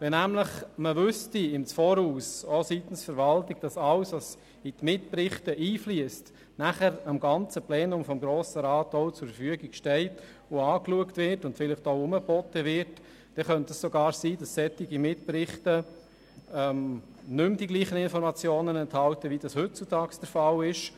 Wenn man im Voraus auch seitens der Verwaltung wüsste, dass alles, was in die Mitberichte einfliesst, danach dem gesamten Plenum des Grossen Rats zur Verfügung steht, angeschaut und vielleicht auch herumgeboten wird, dann könnte es sogar sein, dass solche Mitberichte nicht mehr dieselben Informationen enthalten, wie es heutzutage der Fall ist.